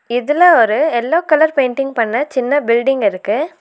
இதுல ஒரு yellow colour painting பண்ண சின்ன பில்டிங் இருக்கு.